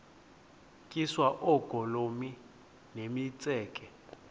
tyiswa oogolomi nemitseke